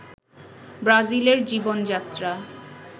ব্রাজিলের জীবন-যাত্রা